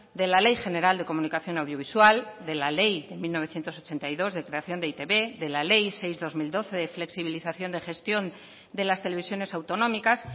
de la ley general de comunicación audiovisual de la ley de mil novecientos ochenta y dos de creación de e i te be de la ley seis barra dos mil doce de flexibilización de gestión de las televisiones autonómicas